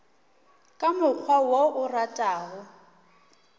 ka mokgwa wo o ratago